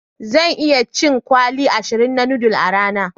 Zan iya cin kwali ashirin na noodle a rana.